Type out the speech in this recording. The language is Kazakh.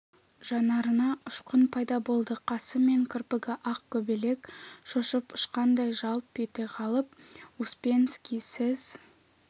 жанарына ұшқын пайда болды қасы мен кірпігі ақ көбелек шошып ұшқандай жалп ете қалып успенский сіз